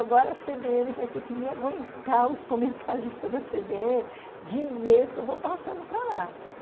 Agora a cê bê ene vai ter que me aguentar, os comentaristas da cê bê ene, de e-mails que eu vou passando para lá.